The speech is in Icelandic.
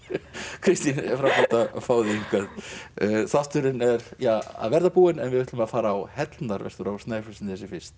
Kristín frábært að fá þig hingað þátturinn er ja að verða búinn en við ætlum að fara á Hellnar vestur á Snæfellsnesi fyrst